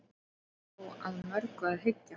hér er þó að mörgu að hyggja